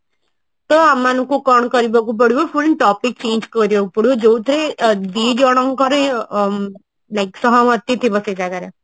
ତ ଆମ ମାନଙ୍କୁ କଣ କରିବାକୁ ପଡିବ full topic change କରିବାକୁ ପଡିବ ଯୋଉଥିରେ ଦିଜଣଙ୍କର ଆଁ ସହମତି ଥିବ ସେ ଜାଗାରେ